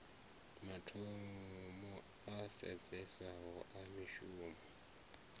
mathomo a sedzeswaho a mishumo